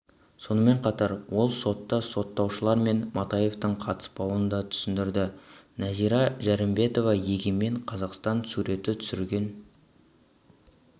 сонымен қатар ол сотта сотталушылар мен матаевтардың қатыспауын да түсіндірді нәзира жәрімбетова егемен қазақстан суретті түсірген